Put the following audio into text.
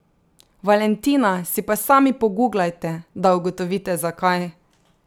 Valentina si pa sami poguglajte, da ugotovite zakaj.